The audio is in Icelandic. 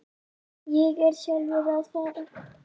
Ég er sjálfur að fara.